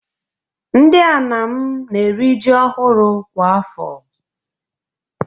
Ndị Anam na-eri ji ọhụrụ kwa afọ.